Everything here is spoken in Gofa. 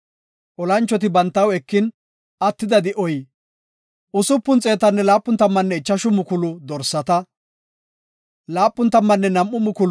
Olanchoti bantaw ekin attida di7oy 675,000 dorsata, 72,000 miizata, 61,000 haretanne 32,000 geela7o macca nayta.